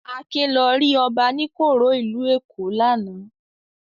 Akin lọ rí Ọbaníkòró ìlú Èkó lánàá.